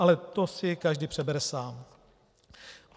Ale to si každý přebere sám.